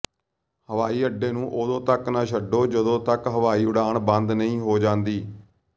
ਹਵਾਈ ਅੱਡੇ ਨੂੰ ਉਦੋਂ ਤਕ ਨਾ ਛੱਡੋ ਜਦੋਂ ਤੱਕ ਹਵਾਈ ਉਡਾਣ ਬੰਦ ਨਹੀਂ ਹੋ ਜਾਂਦੀ